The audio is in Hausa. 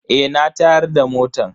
Eh na tayar da motan.